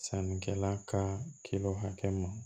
Sannikɛla ka kilo hakɛ ma